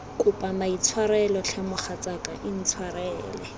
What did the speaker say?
kopa maitshwarelo tlhe mogatsaka intshwarele